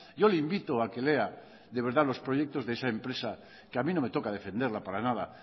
yo le invito a que lea de verdad los proyectos de esa empresa que a mí no me toca defenderla para nada